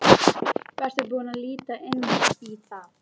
Varstu búinn að líta inn í það?